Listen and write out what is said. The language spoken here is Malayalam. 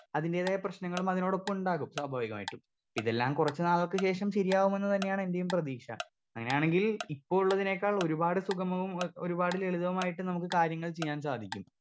സ്പീക്കർ 2 അതിന്റെതായ പ്രശ്നങ്ങളും അതിനോടൊപ്പം ഉണ്ടാകും സ്വാഭാവികമായിട്ടും ഇതെല്ലം കുറച്ചു നാളുകൾക്ക് ശേഷം ശരിയാവുമെന്ന് തന്നെയാണ് എന്റെയും പ്രതീക്ഷ അങ്ങനെയാണെങ്കിൽ ഇപ്പൊ ഉള്ളതിനേക്കാൾ ഒരുപാട് സുഖമവും ഒ ഒരുപാട് ലളിതവുമായിട്ട് നമുക്ക് കാര്യങ്ങൾ ചീയ്യാൻ സാധിക്കും.